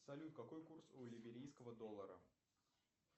салют какой курс и либерийского доллара